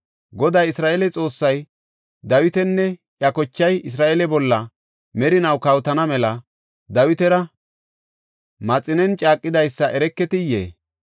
Goday Isra7eele Xoossay Dawitinne iya kochay Isra7eele bolla merinaw kawotana mela Dawitara Maxinen caaqidaysa ereketiyee?